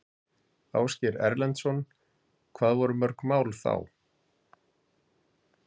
Ásgeir Erlendsson: Hvað voru mörg mál þá?